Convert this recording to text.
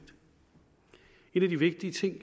en af de vigtige ting